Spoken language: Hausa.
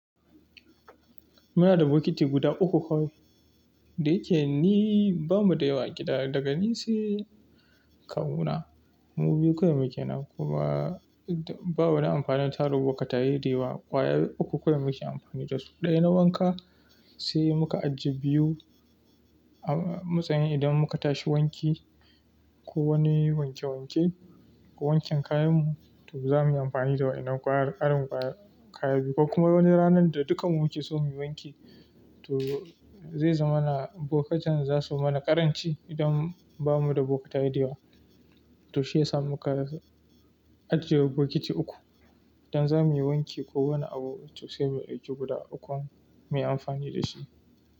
Muna da bukiti guda uku kawai. Da yake ni ba mu da yawa a gida, daga ni sai kawuna, mu biyu kawai muke nan. Kuma ba wani amfanin taru bukka tayi dewa. Kwaya uku kawai muke amfani da su. Ɗaya na wanka, sai muka ajiye biyu a matsayin idan muka tashi wanki ko wani wanke wanke, wanken kayanmu, to zamuyi amfani da wannan ƙwayar, ƙarin ƙwaya, kayan biyu. Ko kuma wani ranar da dukkanmu muke so mu wanke, to zai zama na bokatan zasu mana ƙaranci idan ba mu da bukka tayi dewa. To shiyasa muka ajiye bukiti uku. Idan zamuyi wanki ko wani abu, to sai mu ajiye guda uku kawai mu yi amfani da shi.